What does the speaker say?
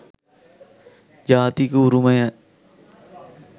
ජාතික උරුමය